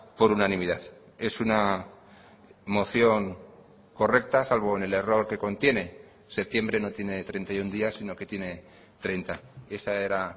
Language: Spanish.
por unanimidad es una moción correcta salvo en el error que contiene septiembre no tiene treinta y uno días si no que tiene treinta esa era